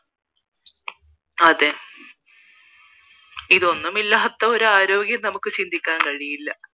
അതേ ഇതൊന്നും ഇല്ലാത്തൊരു ആരോഗ്യം നമുക്ക് ചിന്തിക്കാൻ കഴിയില്ല